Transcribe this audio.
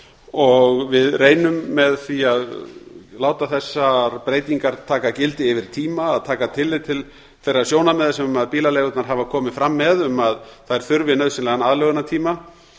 og við reynum með því að láta þessar breytingar taka gildi yfir tíma að taka tillit til þeirra sjónarmiða sem bílaleigurnar hafa komið fram með um að þær nauðsynlegan aðlögunartíma